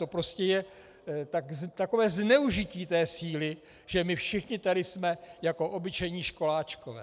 To prostě je takové zneužití té síly, že my všichni tady jsme jako obyčejní školáčkové.